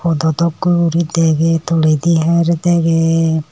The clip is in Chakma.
dodok kow uridagay tolay di hare dagay.